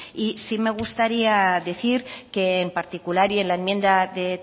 y sí me gustaría decir que en particular y en la enmienda de